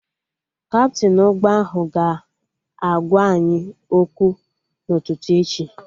Kaptịn ụgbọ ahụ ga-agwa anyị okwu n'ụtụtụ echi